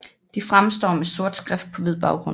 De fremstår med sort skrift på hvid baggrund